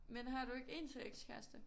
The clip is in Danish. Men har du ikke en til ekskæreste?